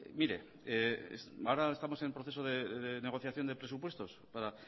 mire ahora estamos en proceso de negociación de presupuestos para